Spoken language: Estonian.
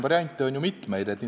Variante on ju mitmeid.